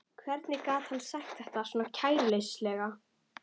Hvernig gat hann sagt þetta svona kæruleysislega?